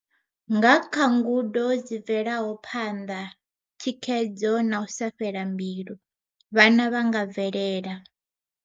Nga kha ngudo dzi bvelaho phanḓa, thikhedzo na u sa fhela mbilu, vhana vha nga bvelela.